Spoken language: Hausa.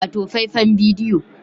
Wato faifan bidiyo